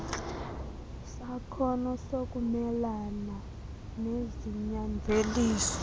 sakhono sokumelana nezinyanzeliso